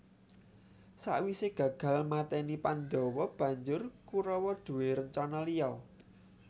Sakwisé gagal mateni Pandhawa banjur Kurawa duwé rencana liya